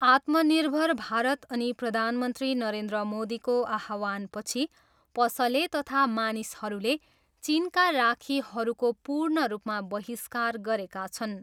आत्मनिर्भर भारत अनि प्रधानमन्त्री नरेन्द्र मोदीको आह्वानपछि पसले तथा मानिसहरूले चिनका राखीहरूको पूर्ण रूपमा बहिष्कार गरेका छन्।